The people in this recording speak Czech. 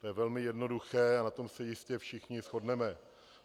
To je velmi jednoduché a na tom se jistě všichni shodneme.